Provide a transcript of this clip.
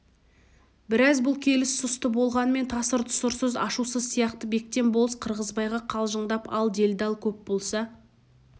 бірақ бұл келіс сұсты болғанмен тасыр-тұсырсыз ашусыз сияқты бектен болыс қырғызбайға қалжыңдап ал делдал көп болса